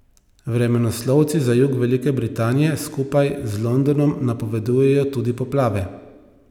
Vremenoslovci za jug Velike Britanije skupaj z Londonom napovedujejo tudi poplave.